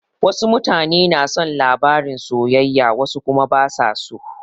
Wasu mutane na son labarin soyayya wasu kuma basa so.